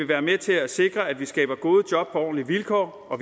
være med til at sikre at vi skaber gode job på ordentlige vilkår og